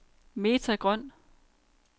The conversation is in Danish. Meta Grøn